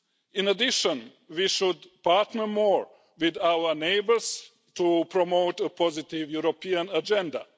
In addition, we should partner more with our neighbours to promote a positive European agenda.